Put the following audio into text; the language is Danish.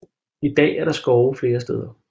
I dag er der skov flere steder